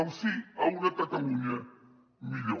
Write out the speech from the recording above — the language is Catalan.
el sí a una catalunya millor